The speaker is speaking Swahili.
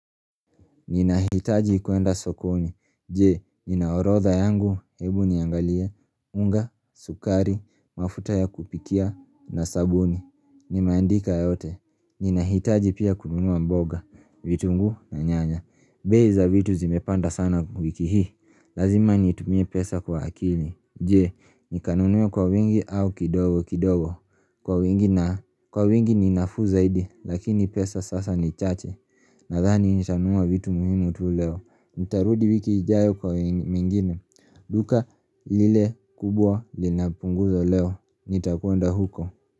Ninahitaji kuenda sokoni, je, nina orodha yangu? Hebu niangalie, unga, sukari, mafuta ya kupikia na sabuni, nimeandika yote Ninahitaji pia kununua mboga, vitunguu na nyanya. Bei za vitu zimepanda sana wiki hii. Lazima nitumie pesa kwa akili. Je, nikanunue kwa wengi au kidogo kidogo? Kwa wengi ni nafuu zaidi lakini pesa sasa ni chache Nadhani nitanunua vitu muhimu tu leo. Nitarudi wiki ijayo kwa mingine. Duka lile kubwa linapunguza leo nitakwenda huko.